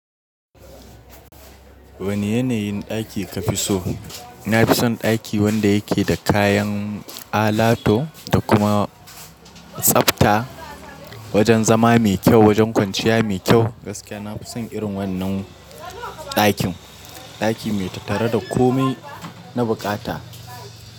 Wane yanayin ɗaki ka fi so? Na fi son ɗaki wanda ya ke da kayan alato da kuma tsafta. Wajen zama mai kyau, wajen kwanciya mai kyau. Gaskiya na fi son irin wannan ɗakin. Ɗaki mai tattare da kome na bukata.